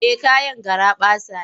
Eh kayan garaɓasa ne.